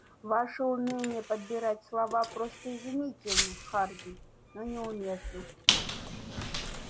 ваше умение подбирать слова просто изумительно хардин но неуместно